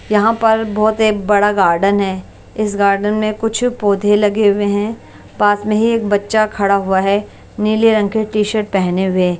यहां पर बहुत एक बड़ा गार्डन है इस गार्डन मे कुछ पौधे लगे हुए हैं पास मे ही एक बच्चा खड़ा हुआ है नीले रंग के टी-शर्ट पहने हुए ।